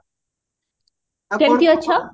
କେମତି ଅଛ